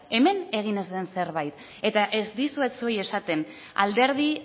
hemen egin ez den zerbait eta ez dizuet zuei esaten alderdi